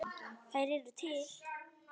Þær eru til.